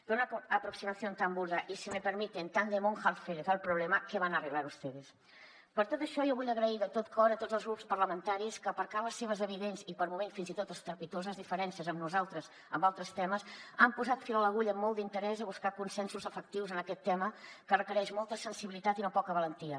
pero con una aproximación tan burda y si me permiten tan de monja alférez al problema qué van a arreglar ustedes per tot això jo vull agrair de tot cor a tots els grups parlamentaris que aparcant les seves evidents i per moments fins i tot estrepitoses diferències amb nosaltres en altres temes han posat fil a l’agulla amb molt d’interès a buscar consensos efectius en aquest tema que requereix molta sensibilitat i no poca valentia